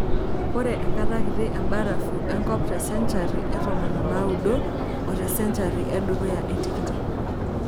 Ore enkata kiti embarafu enkop tesencari e tomon onaaudo otesenchari edukuya etikitam .